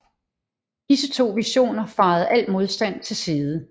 Disse to divisioner fejede al modstand til side